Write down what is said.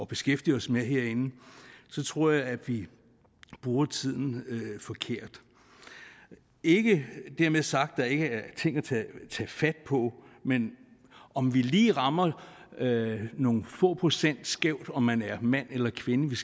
beskæftige os med herinde så tror jeg at vi bruger tiden forkert ikke dermed sagt at der ikke ting at tage fat på men om vi lige rammer nogle få procent skævt om man er mand eller kvinde